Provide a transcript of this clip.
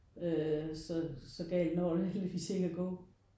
Øh så så galt når det heldigvis ikke at gå